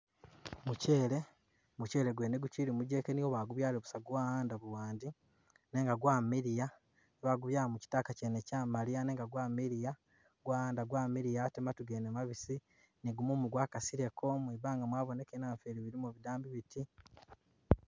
Muchele, muchele gwene gukyili mugeke niyo bagubyalile busa gwa'anda buwandi, nenga gwamiliya ba gubyala mu kyitaka kyene kyamaliya nenga gwamiliya gwa'anda gwamiliya ate matu mene mabisi, ni gumumu gwakasileko mwibanga mwabonekele namufeeli bilimo bidambi biti.